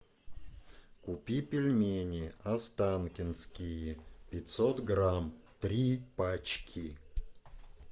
купи пельмени останкинские пятьсот грамм три пачки